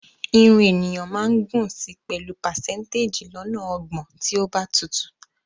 Irun ènìyàn máa gùn si pẹ̀lú pàsẹ́ńtéjì lọ́nà ọgbọ̀n tí ó bá tutù